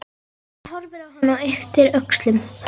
Hún horfir á hann og ypptir öxlum.